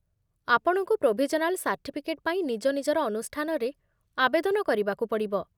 ଆପଣଙ୍କୁ provisional certificate ପାଇଁ ନିଜ ନିଜର ଅନୁଷ୍ଠାନରେ ଆବେଦନ କରିବାକୁ ପଡ଼ିବ